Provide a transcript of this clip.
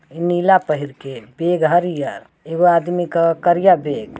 नीला पहिर के। बैग हरिया एगो आदमी का करिया बैग ।